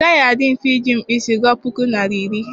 Ọ gaghị adị mfe iji mkpụsị gụọ pukọ naịra iri.